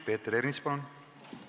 Peeter Ernits, palun!